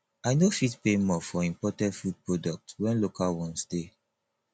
i no fit pay more for imported food products wen local ones dey